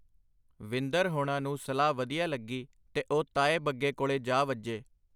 ਵਿੰਦਰ ਹੋਣਾ ਨੂੰ ਸਲਾਹ ਵਧੀਆ ਲੱਗੀ ਤੇ ਉਹ ਤਾਏ ਬੱਗੇ ਕੋਲੇ ਜਾ ਵੱਜੇ.